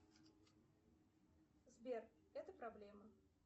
сбер это проблема